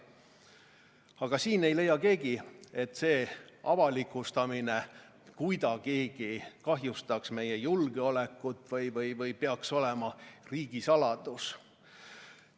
Aga siin ei leia keegi, et avalikustamine kuidagigi kahjustaks meie julgeolekut ja need peaks olema riigisaladus.